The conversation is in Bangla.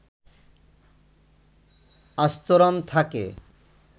আস্তরণ থাকে